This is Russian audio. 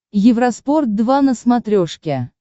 евроспорт два на смотрешке